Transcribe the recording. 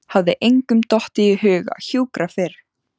Hafði engum dottið í hug að hjúkra fyrr?